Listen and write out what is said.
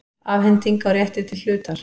Afhending á rétti til hlutar.